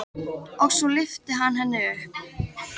Og svo lyfti hann henni upp.